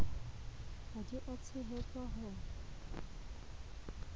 ha di a tshehetswa ho